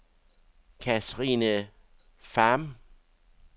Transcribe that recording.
Kathrine Pham